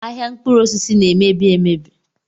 Ahịa mkpụrụosisi na-emebi emebi